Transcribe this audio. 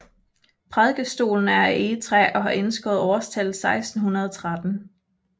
Prædikestolen er af egetræ og har indskåret årstallet 1613